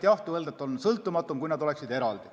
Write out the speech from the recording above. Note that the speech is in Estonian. Jah, on öeldud, et oleks sõltumatum, kui nad oleksid eraldi.